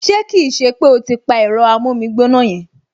Ṣé kì í ṣe pé o ti pa ẹ̀rọ amómígbóná yẹn!